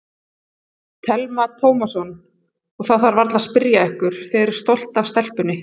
Telma Tómasson: Og það þarf varla að spyrja ykkur, þið eruð stolt af stelpunni?